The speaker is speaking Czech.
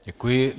Děkuji.